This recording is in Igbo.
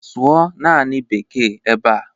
Sụọ naanị Beeke ebe a!